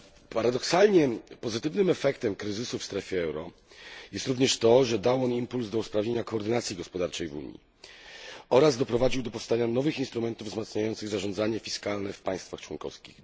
Paradoksalnie pozytywnym efektem kryzysu w strefie euro jest również to, że dał on impuls do usprawnienia koordynacji gospodarczej w Unii oraz doprowadził do powstania nowych instrumentów wzmacniających zarządzanie fiskalne w państwach członkowskich.